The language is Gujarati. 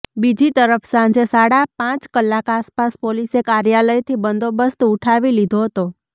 બીજીતરફ સાંજે સાડા પાંચ કલાક આસપાસ પોલીસે કાર્યાલયથી બંદોબસ્ત ઉઠાવી લીધો હતો